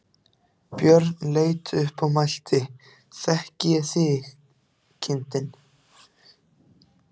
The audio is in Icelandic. Björn leit upp og mælti: Þekki ég þig, kindin?